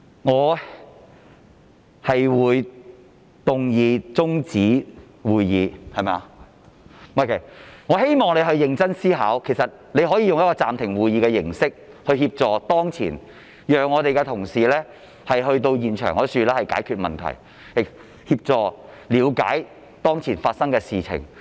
我會動議中止會議，但我希望你認真思考，其實你可以用暫停會議的形式協助當前情況，讓我們的同事能夠前往現場解決問題，協助了解當前發生的事情。